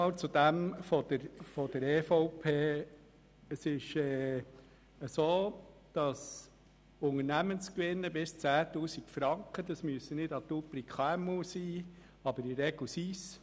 Zum Antrag der EVP: Die Unternehmen mit Gewinnen bis 10 000 Franken müssen nicht unbedingt KMU sein, aber in der Regel handelt es sich um solche.